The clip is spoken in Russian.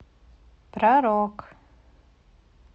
про рок